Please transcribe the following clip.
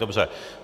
Dobře.